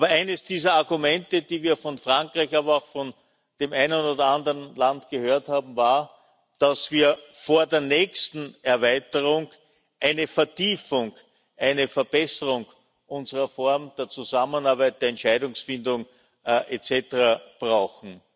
Eines dieser Argumente, die wir von Frankreich, aber auch von dem einen oder anderen Land gehört haben, war, dass wir vor der nächsten Erweiterung eine Vertiefung, eine Verbesserung unserer Form der Zusammenarbeit, der Entscheidungsfindung et cetera brauchen.